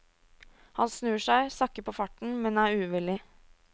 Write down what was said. Han snur seg, sakker på farten, men er uvillig.